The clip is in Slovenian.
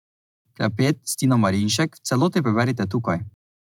Klepet s Tino Marinšek v celoti preberite tukaj.